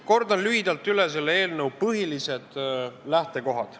Kordan lühidalt üle selle eelnõu põhilised lähtekohad.